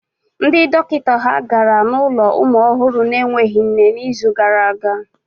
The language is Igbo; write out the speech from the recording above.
Ndị dọkịta ha gara n'ụlọ ụmụ ọhụrụ na-enweghị nne n'izu gara aga?